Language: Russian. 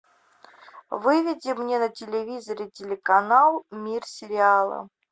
выведи мне на телевизоре телеканал мир сериала